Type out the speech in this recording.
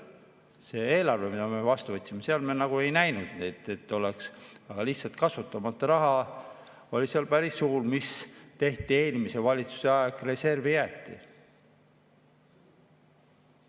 Selles eelarves, mille me vastu võtsime, me seda ei näinud, aga lihtsalt kasutamata raha oli päris suur, mis eelmise valitsuse ajal läks reservi jääki.